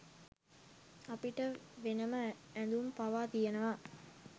අපිට වෙනම ඇඳුම් පවා තියෙනවා.